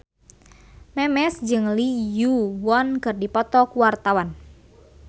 Memes jeung Lee Yo Won keur dipoto ku wartawan